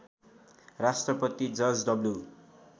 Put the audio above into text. Rashtrapati George W